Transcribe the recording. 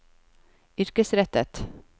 yrkesrettet